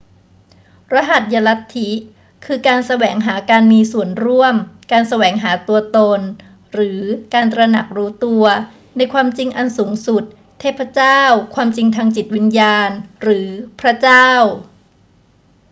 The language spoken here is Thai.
รหัสยลัทธิ คือการแสวงหาการมีส่วนร่วม การแสวงหาตัวตน หรือการตระหนักรู้ตัว ในความจริงอันสูงสุด เทพเจ้า ความจริงทางจิตวิญญาณ หรือพระเจ้า